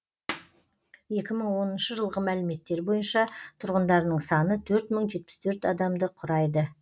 екі мың оныншы жылғы мәліметтер бойынша тұрғындарының саны төрт мың жетпіс төрт адамды құрайды